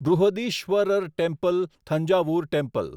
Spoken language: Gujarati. Brihadeeswarar temple Thanjavur temple